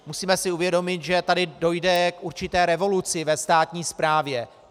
Musíme si uvědomit, že tady dojde k určité revoluci ve státní správě.